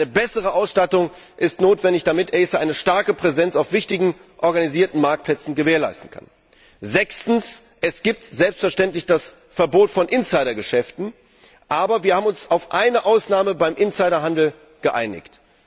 Eine bessere Ausstattung ist notwendig, damit ACER eine starke Präsenz auf wichtigen organisierten Marktplätzen gewährleisten kann. Sechstens Es gibt selbstverständlich das Verbot von Insidergeschäften, aber wir haben uns auf eine Ausnahme beim Insiderhandel geeinigt.